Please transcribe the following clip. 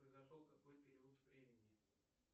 произошел в какой период времени